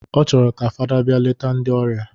Ọ chọrọ ka fada bịa leta ndị ọrịa